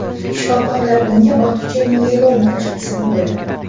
Shifokorlar unga ortiqcha miyeloma tashxisini qo‘ydi.